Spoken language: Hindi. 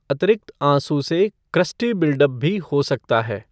अतिरिक्त आँसू से क्रस्टी बिल्डअप भी हो सकता है।